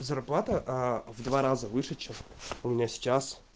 зарплата в два раза выше чем у меня сейчас